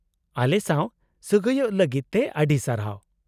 -ᱟᱞᱮᱥᱟᱶ ᱥᱟᱹᱜᱟᱹᱭᱚᱜ ᱞᱟᱹᱜᱤᱫ ᱛᱮ ᱟᱹᱰᱤ ᱥᱟᱨᱦᱟᱣ ᱾